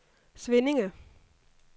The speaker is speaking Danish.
Svinninge